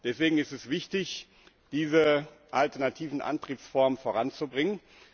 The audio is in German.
Deswegen ist es wichtig, diese alternativen Antriebsformen voranzubringen.